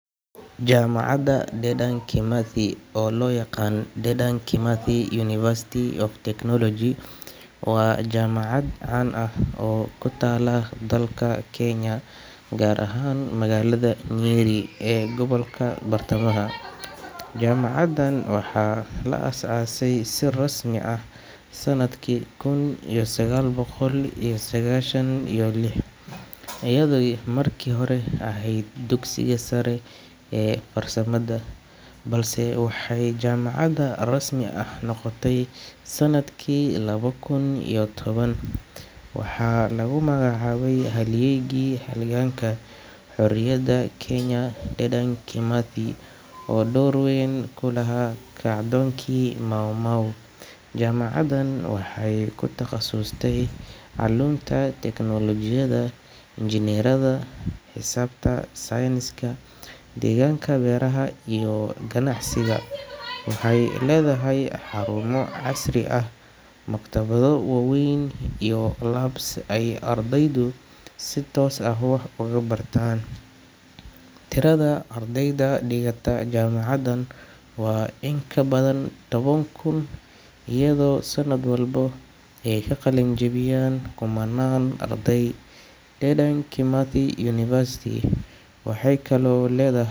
Jaamacadda Dedan Kimathi, oo loo yaqaan Dedan Kimathi University of Technology, waa jaamacad caan ah oo ku taalla dalka Kenya, gaar ahaan magaalada Nyeri ee gobolka bartamaha. Jaamacaddan waxaa la aasaasay si rasmi ah sanadkii kun iyo sagaal boqol iyo sagaashan iyo lix, iyadoo markii hore ahayd dugsiga sare ee farsamada, balse waxay jaamacad rasmi ah noqotay sanadkii laba kun iyo toban. Waxaa lagu magacaabay halyaygii halganka xorriyadda Kenya, Dedan Kimathi, oo door weyn ku lahaa kacdoonkii Mau Mau. Jaamacaddan waxay ku takhasustay culuumta tiknoolajiyadda, injineeriyada, xisaabta, sayniska, deegaanka, beeraha, iyo ganacsiga. Waxay leedahay xarumo casri ah, maktabado waaweyn, iyo labs ay ardaydu si toos ah wax ugu bartaan. Tirada ardayda dhigata jaamacaddan waa in ka badan toban kun, iyadoo sanad walba ay ka qalin-jabiyaan kumannaan arday. Dedan Kimathi University waxay kaloo leed.